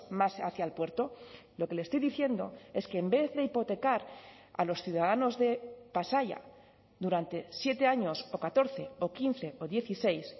más hacia el puerto lo que le estoy diciendo es que en vez de hipotecar a los ciudadanos de pasaia durante siete años o catorce o quince o dieciséis